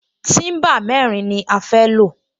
Tíḿbà mẹ́rin ni a fẹ́ lò